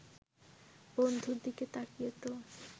বন্ধুর দিকে তাকিয়ে তো